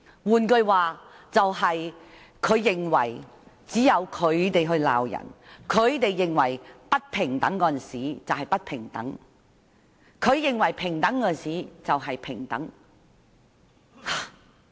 換句話說，她認為只有他們可以批評別人，他們認為不平等的就是不平等，他們認為平等的就是平等。